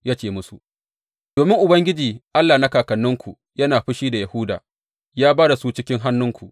Ya ce musu, Domin Ubangiji Allah na kakanninku yana fushi da Yahuda, ya ba da su cikin hannunku.